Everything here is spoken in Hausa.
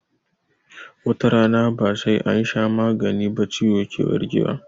Watarana ba sai ansha magani ba ciwo ke warke wa